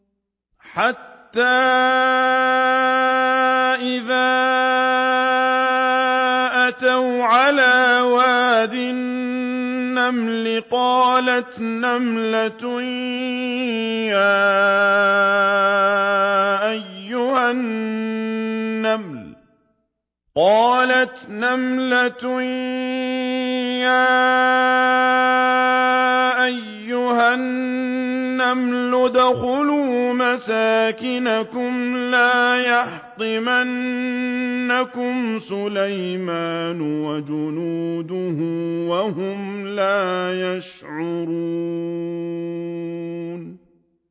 حَتَّىٰ إِذَا أَتَوْا عَلَىٰ وَادِ النَّمْلِ قَالَتْ نَمْلَةٌ يَا أَيُّهَا النَّمْلُ ادْخُلُوا مَسَاكِنَكُمْ لَا يَحْطِمَنَّكُمْ سُلَيْمَانُ وَجُنُودُهُ وَهُمْ لَا يَشْعُرُونَ